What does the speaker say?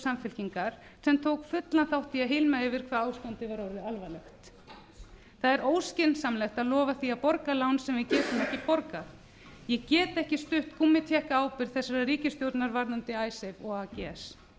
samfylkingar sem tók fullan þátt í að hylma yfir hvað ástandið var orðið alvarlegt það er óskynsamlegt að lofa því að borg lán sem við getum ekki borgað ég get ekki stutt gúmmítékkaábyrgð þessarar ríkisstjórnar varðandi icesave og ags